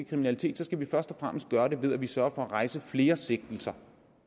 kriminalitet skal vi først og fremmest gøre det ved at vi sørger for at rejse flere sigtelser